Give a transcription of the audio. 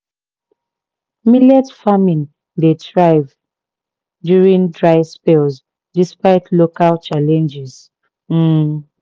millet farming dey thrive during dry spells despite local challenges. um